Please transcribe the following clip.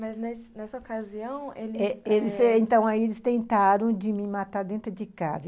Mas, nesse nessa ocasião, eles... eh eh, então, aí eles tentaram de me matar dentro de casa.